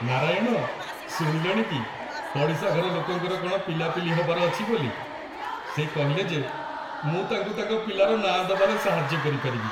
ନାରାୟଣ, ଶୁଣିଲଣି କି, ପଡ଼ିଶାଘର ଲୋକଙ୍କର କ'ଣ ପିଲାପିଲି ହବାର ଅଛି ବୋଲି? ସେ କହିଲେ ଯେ ମୁଁ ତାଙ୍କୁ ତାଙ୍କ ପିଲାର ନାଁ ଦବାରେ ସାହାଯ୍ୟ କରିପାରିବି ।